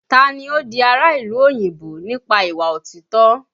Taa ni ó di ará ìlú òyìnbó nípa ìwà òtítọ́?